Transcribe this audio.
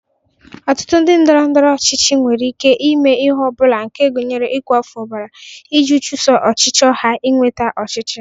Ọtụtụ ndị ndọrọndọrọ ọchịchị nwere ike ime ihe ọ bụla nke gụnyere ịkwafụ ọbara, iji chuso ọchịchọ ha inweta ọchịchị.